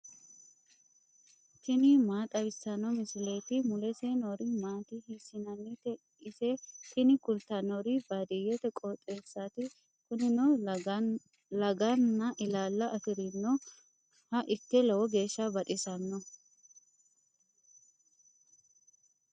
tini maa xawissanno misileeti ? mulese noori maati ? hiissinannite ise ? tini kultannori baadiyyete qooxeessaati. kunino laganna ilaala afirinoha ikke lowo geeshsha baxisanno.